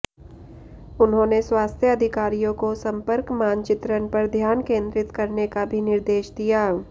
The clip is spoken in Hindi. उन्होंने स्वास्थ्य अधिकारियों को संपर्क मानचित्रण पर ध्यान केंद्रित करने का भी निर्देश दिया